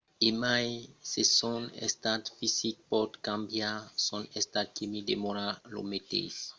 e mai se son estat fisic pòt cambiar son estat quimic demòra lo meteis